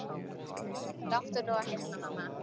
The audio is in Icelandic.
Láttu nú ekki svona mamma.